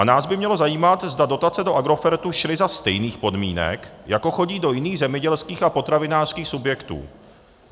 A nás by mělo zajímat, zda dotace do Agrofertu šly za stejných podmínek, jako chodí do jiných zemědělských a potravinářských subjektů.